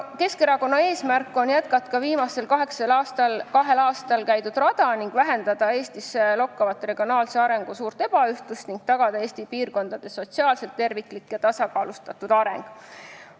Keskerakonna eesmärk on jätkata viimasel kahel aastal käidud rada: vähendada Eestis lokkavat regionaalse arengu suurt ebaühtlust ning tagada Eesti piirkondade sotsiaalselt terviklik ja tasakaalustatud areng.